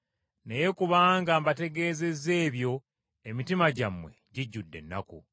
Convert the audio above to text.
Naye kubanga mbategeezezza ebyo emitima gyammwe gijjudde ennaku.